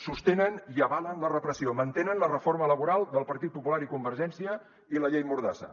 sostenen i avalen la repressió mantenen la reforma laboral del partit popular i convergència i la llei mordassa